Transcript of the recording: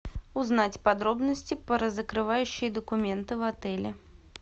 узнать подробности про закрывающие документы в отеле